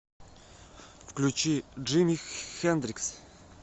включи джими хэндрикс